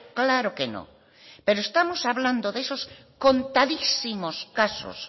claro que no pero estamos hablando de esos contadísimos casos